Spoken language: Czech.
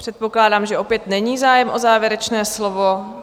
Předpokládám, že opět není zájem o závěrečné slovo.